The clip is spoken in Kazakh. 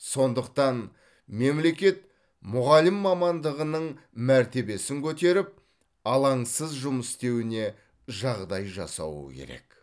сондықтан мемлекет мұғалім мамандығының мәртебесін көтеріп алаңсыз жұмыс істеуіне жағдай жасауы керек